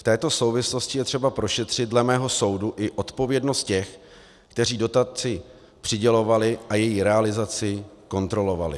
V této souvislosti je třeba prošetřit dle mého soudu i odpovědnost těch, kteří dotaci přidělovali a její realizaci kontrolovali.